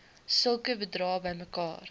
sulke bedrae bymekaar